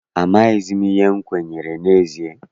Amaghịzi m ihe m kwenyere n'ezie.